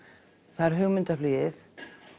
það er hugmyndaflugið